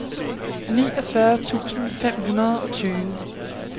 niogfyrre tusind fem hundrede og tyve